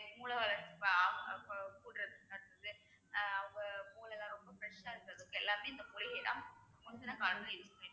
மூளை வளர்ச்~ அவங்க மூளைலாம் ரொம்ப fresh ஆ இருக்கறதுக்கு எல்லாமே இந்த மூலிகை தான் காரணம்